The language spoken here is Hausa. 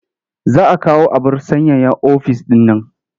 Za a kawo abar sanyaya ɗaki ofis ɗin man.